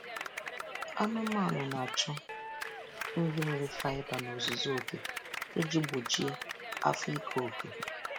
Anụmanụ na-achọ nri nwere faiba n'ozuzu oke iji gbochie afọ iko eko.